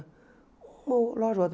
Uma loja ou outra.